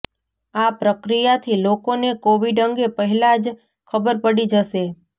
આ પ્રક્રિયાથી લોકોને કોવિડ અંગે પહેલા જ ખબર પડી જશે